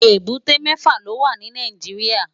Ébùté mèfá ló wá ni Nàijiriá